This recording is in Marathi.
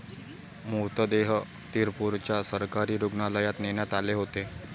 मृतदेह तिरपूरच्या सरकारी रूग्णालयात नेण्यात आले होते.